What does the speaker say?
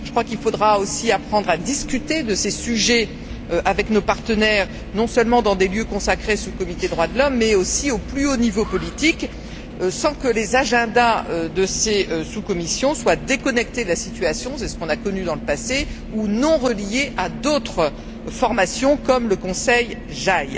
Je crois qu'il faudra aussi apprendre à discuter de ces sujets avec nos partenaires, non seulement dans des lieux consacrés sous comités des droits de l'homme, mais aussi au plus haut niveau politique, sans que les agendas de ces sous commissions soient déconnectés de la situation c'est ce qu'on a connu dans le passé ou non reliés à d'autres formations, comme le Conseil JAI.